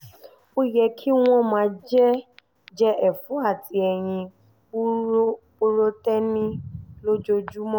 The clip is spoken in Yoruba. ó yẹ kí wọ́n máa jẹ ẹ̀fọ́ àti ẹyin purotéènì lójoojúmọ́